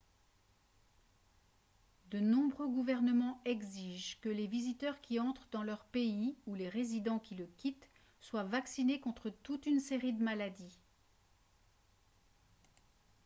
de nombreux gouvernements exigent que les visiteurs qui entrent dans leur pays ou les résidents qui le quittent soient vaccinés contre toute une série de maladies